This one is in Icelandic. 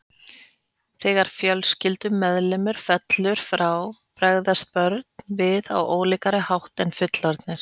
Þegar fjölskyldumeðlimur fellur frá bregðast börn við á ólíkari hátt heldur en fullorðnir.